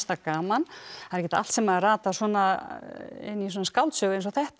gaman það er ekkert allt sem ratar inn í skáldsögu eins og þetta